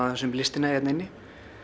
um listina hérna inni